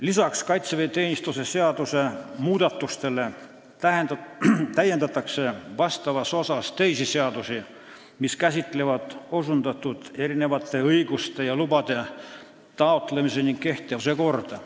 Lisaks kaitseväeteenistuse seadusele täiendatakse teiste seaduste osi, mis käsitlevad osundatud õiguste ja lubade taotlemise ning kehtivuse korda.